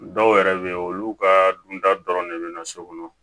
Dɔw yɛrɛ bɛ yen olu ka dunta dɔrɔn de bɛ na so kɔnɔ